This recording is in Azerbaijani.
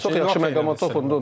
Çox yaxşı məqama toxundun.